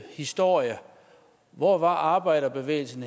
historien hvor var arbejderbevægelsen